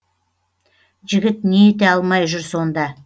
жігіт не ете алмай жүр сонда